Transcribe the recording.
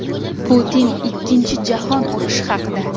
Putin Ikkinchi jahon urushi haqida.